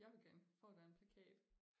Jeg vil gerne få den plakat